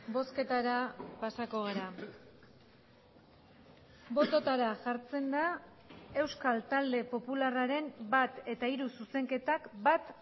bozketara pasako gara bototara jartzen da euskal talde popularraren bat eta hiru zuzenketak bat